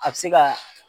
A bɛ se ka